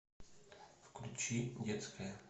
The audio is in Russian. включи детская